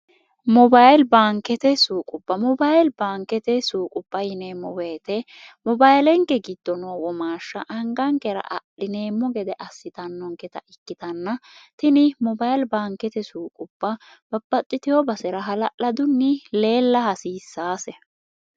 mobayili baankete suuqupha mobayili baankete suuqupha yineemmo woyite mobayilenke giddo noo womaashsha angaankera adhineemmo gede assitannonketa ikkitanna tini mobayili baankete suuqupha bapaxxiteo basera hala'ladunni leella hasiissaase